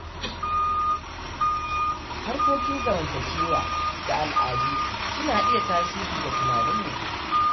Harkokin zamantakewa da al’adu suna iya tasiri ga tunanin mutum.